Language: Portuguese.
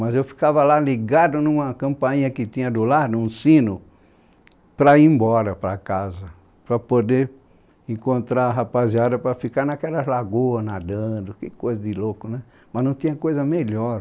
Mas eu ficava lá ligado numa campainha que tinha do lado, um sino, para ir embora para casa, para poder encontrar rapaziada para ficar naquelas lagoas nadando, que coisa de louco né, mas não tinha coisa melhor.